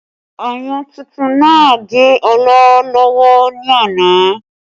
Ayùn tuntun náà gé Ọlá lọ́wọ́ ní àná